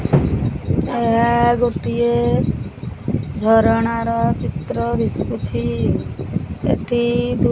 ଏହା ଗୋଟିଏ ଝରଣାର ଚିତ୍ର ଦିଶୁଛି ଏଠି ଦୁଇ --